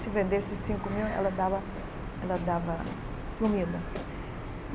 Se vendesse cinco mil, ela dava ela dava comida.